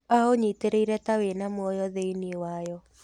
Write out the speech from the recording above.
Aũnyitĩrĩire ta wĩna muoyo thĩinĩ wayo.